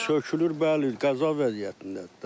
Sökülür, bəli, qəza vəziyyətindədir də.